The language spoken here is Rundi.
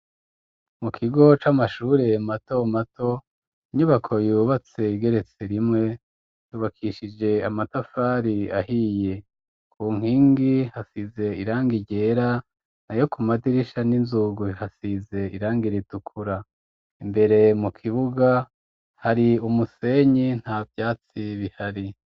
Mu kigo c'amashure matomato, inyubako yubatse igeretse rimwe, yubakishije amatafari ahiye. Ku nkingi hasize irangi ryera n'ayo ku madirisha n'inzugi hasize irangi ritukura. Imbere mu kibuga hari umusenyi, nta vyatsi bihari.